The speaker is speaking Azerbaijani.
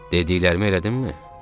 Dediklərimi elədinmi?